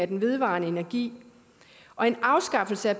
den vedvarende energi og en afskaffelse af